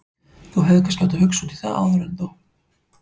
Þú hefðir kannski átt að hugsa út í það áður en þú.